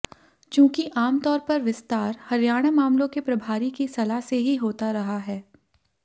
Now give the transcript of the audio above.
चूंकि आमतौर पर विस्तार हरियाणा मामलों के प्रभारी की सलाह से ही होता रहा है